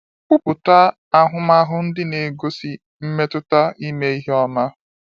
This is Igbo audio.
Kọwapụta ahụmahụ ndị na-egosi mmetụta ime ihe i i ọma.